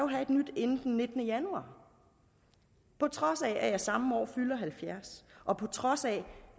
have et nyt inden den nittende januar på trods af at jeg samme år fylder halvfjerds og på trods af